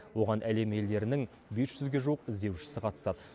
оған әлем елдерінің бес жүзге жуық іздеушісі қатысады